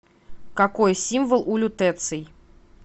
какой символ у лютеций